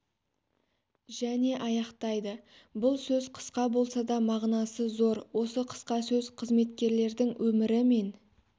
және аяқтайды бұл сөз қысқа болса да мағынасы зор осы қысқа сөз қызметкерлердің өмірі мен